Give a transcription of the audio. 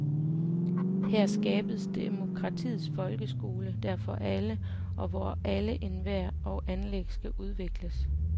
Her skabes demokratiets folkeskole, der er for alle, og hvor alle evner og anlæg skal udvikles.